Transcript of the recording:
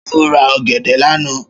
Ṣé ọ ra ọ̀gẹ̀dẹ̀ lánáà?